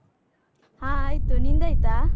ಹಾ ಆಯ್ತು, ನಿಂದಾಯ್ತಾ?